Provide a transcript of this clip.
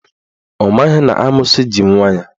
Ọ maghị na amoosu ji nwa ya.